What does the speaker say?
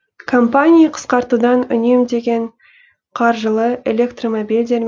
компания қысқартудан үнемдеген қаржылы электромобильдер